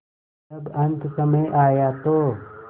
जब अन्तसमय आया तो